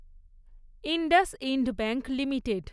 IndusInd bank limited